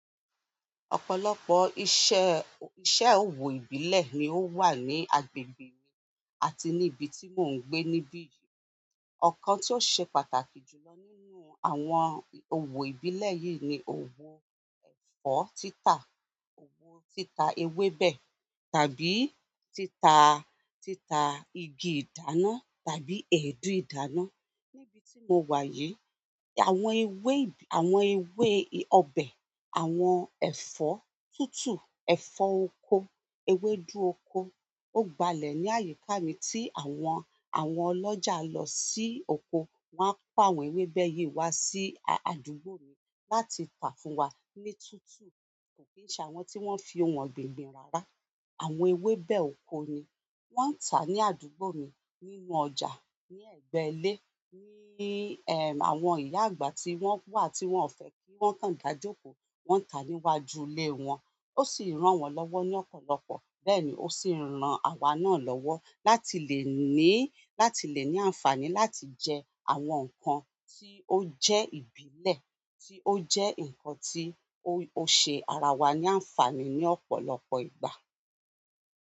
Ọ̀pọ̀lọpọ̀ iṣẹ́, iṣẹ́ òwò ìbílẹ̀ ni ó wà ní agbègbè mi àti ní ibi tí mò ń gbé níbí yìí. Ọ̀kan tí ó ṣe pàtàkì jù lọ nínú àwọn òwò ìbílẹ̀ yìí ni òwò ẹ̀fọ́ títa, òwò títa ewébẹ̀ tàbí títa, títa igi ìdáná tàbí èédú ìdáná. Níbi tí mo wà yìí, àwọn ewé ìb-- àwọn ewé ì-- ọbẹ̀, àwọn ẹ̀fọ́ tútù, ẹ̀fọ́ oko, ewédú oko ó gbalẹ̀ ní àyíká mi tí àwọn, àwọn ọlọ́jà lọ sí oko wáa pa àwọn ewébẹ̀ yìí wá sí àdúgbò mi láti tà fún wa ní tútù. Kò kí n sọ àwọn tí wọ́n fi òun ọ̀gbìn gbin rara. Àwọn ewébẹ̀ oko ni wọ́n ń tà ní àdúgbò mi nínú ọjà, ní ẹ̀gbẹ́ ilé, ní ẹ, àwọn ìyá àgbà tí wọ́n wà tí wọ́n ò fẹ́ kí wọ́n káń da jókòó, wọ́n ń tà níwájú ilé wọn. Ó sì rán wọn lọ́wọ́ ní ọ̀pọ̀lọpọ̀ bẹ́ẹ̀ ni ó sì ń ran àwa náà lọ́wọ́ láti lè ní, láti lè ní àǹfààní láti jẹ àwọn nǹkan tí ó jẹ́ ìbílẹ̀ tí ó jẹ́ nǹkan tí ó ṣe ara wa ní àǹfààní ní ọ̀pọ̀lọpọ̀ ìgbà.